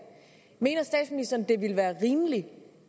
det ville være rimeligt